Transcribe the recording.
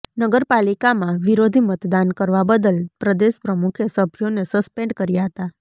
નગરપાલિકામાં વિરોધી મતદાન કરવા બદલ પ્રદેશ પ્રમુખે સભ્યોને સસ્પેન્ડ કર્યા હતા